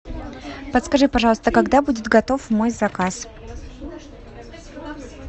подскажи пожалуйста когда будет готов мой заказ